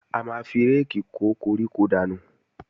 A máa fi réèkì kó koríko dànù